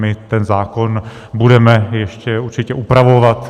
My ten zákon budeme ještě určitě upravovat.